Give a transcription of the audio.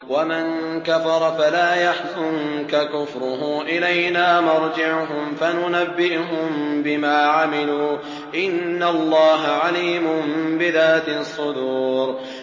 وَمَن كَفَرَ فَلَا يَحْزُنكَ كُفْرُهُ ۚ إِلَيْنَا مَرْجِعُهُمْ فَنُنَبِّئُهُم بِمَا عَمِلُوا ۚ إِنَّ اللَّهَ عَلِيمٌ بِذَاتِ الصُّدُورِ